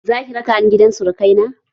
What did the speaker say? Zaki raka ni gidan surukai na?